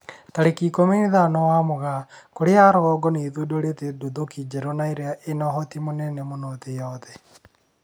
Tarĩki ikũmi na ithano wa Mugaa, Korea ya rũgongo nĩ ĩthundũrite nduthũki njerũ na ĩria ĩna ũhoti mũnene mũno thĩ yothe